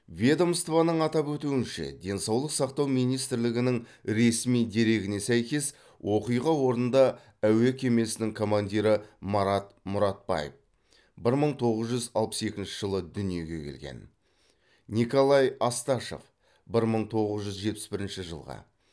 ведомствоның атап өтуінше денсаулық сақтау министрлігінің ресми дерегіне сәйкес оқиға орнында әуе кемесінің командирі марат мұратбаев бір мың тоғыз жүз алпыс екінші жылы дүниеге келген николай асташов бір мың тоғыз жүз жетпіс бірінші жылғы